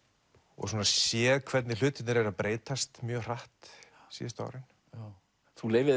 og séð hvernig hlutirnir breytast mjög hratt síðustu árin þú leyfir